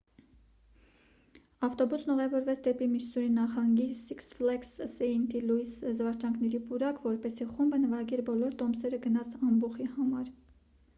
ավտոբուսն ուղևորվեց դեպի միսսուրի նահանգի սիքս ֆլեգս սեինթ լուիս զվարճանքների պուրակ որպեսզի խումբը նվագեր բոլոր տոմսերը գնած ամբոխի համար